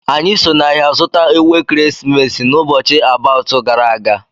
Anyi so n'ahia zuta Ewu ekeresimesi n'ubochi about gara aga